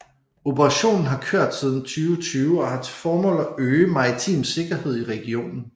Operationen har kørt siden 2020 og har til formål at øge maritim sikkerhed i regionen